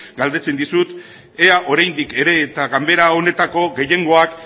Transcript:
galdetzen dizut ea oraindik ere eta ganbera honetako gehiengoak